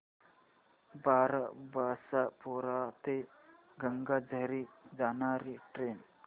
बारबासपुरा ते गंगाझरी जाणारी ट्रेन